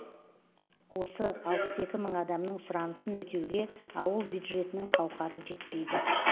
осы алпыс екі мың адамның сұранысын өтеуге ауыл бюджетінің қауқары жетпейді